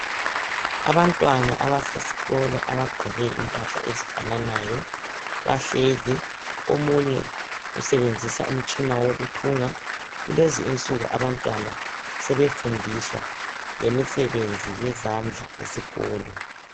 Abantwana abasesikolo abagqoke impahla ezifananayo bahlezi omunye usebenzisa umtshina wokuthunga kulezinsuku abantwana sebefundiswa lemisebenzi yezandla esikolo.